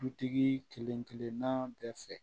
Dutigi kelenkelenna bɛɛ fɛ